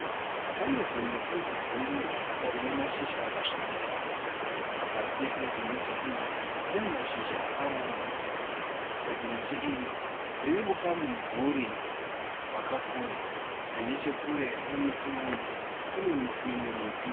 Pane zimuti ziguru rine masizha akasvibira. Pasi pezimuti iri pane mashizha akaoma. Zimuti iri riri kupa mvuri wakakura. Nechekure kwemuti uyu kune mimwe miti.